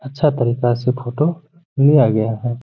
अच्छा तरीक़ा से फोटो लिया गया है।